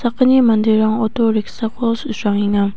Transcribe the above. akgni manderang oto rikshaw-ko su·srangenga.